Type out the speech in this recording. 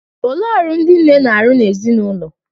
Olee ọrụ ndị nne na-arụ n'ezinụlọ?